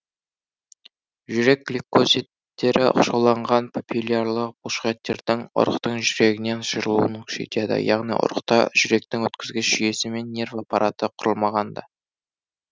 жүрек гликозидтері оқшауланған папиллярлы бұлшықеттердің ұрықтың жүрегінің жиырылуын күшейтеді яғни ұрықта жүректің өткізгіш жүйесі мен нерв аппараты құрылмағанда